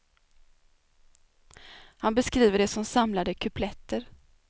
Han beskriver det som samlade kupletter.